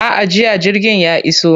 A'a, jiya jirgin ya iso.